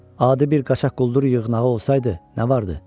Adi bir qaçaq quldur yığnağı olsaydı nə vardı?